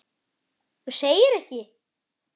Þú segir ekki.